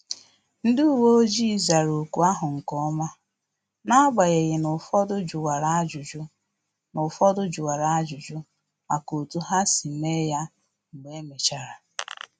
Ndị uwe ojii zara ọkụ ahụ nkeọma, n'agbanyeghị na-ụfọdụ juwara ajụjụ na-ụfọdụ juwara ajụjụ maka otu ha si mee ya mgbe emechara